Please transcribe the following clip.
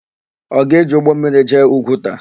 Ọ ga-eji ụgbọmmiri jee Ugwuta?